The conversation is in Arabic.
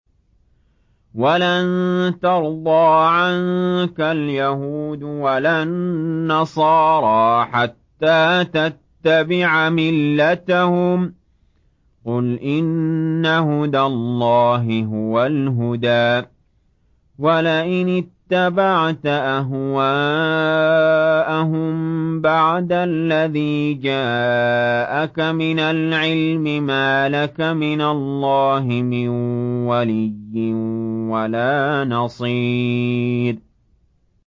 وَلَن تَرْضَىٰ عَنكَ الْيَهُودُ وَلَا النَّصَارَىٰ حَتَّىٰ تَتَّبِعَ مِلَّتَهُمْ ۗ قُلْ إِنَّ هُدَى اللَّهِ هُوَ الْهُدَىٰ ۗ وَلَئِنِ اتَّبَعْتَ أَهْوَاءَهُم بَعْدَ الَّذِي جَاءَكَ مِنَ الْعِلْمِ ۙ مَا لَكَ مِنَ اللَّهِ مِن وَلِيٍّ وَلَا نَصِيرٍ